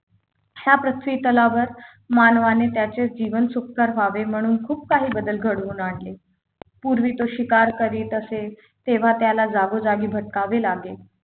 या पृथ्वीतलावर मानवाने त्याचे जीवन सुखकर व्हावे म्हणून खूप काही बदल घडवून आणले पूर्वी तो शिकार करीत असे तेव्हा त्याला जागोजागी भटकावे लागेल